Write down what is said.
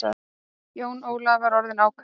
Jón Ólafur var orðinn ákafur.